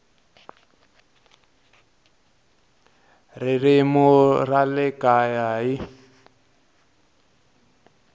ririmi ra le kaya hl